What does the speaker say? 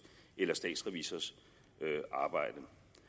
eller statsrevisors arbejde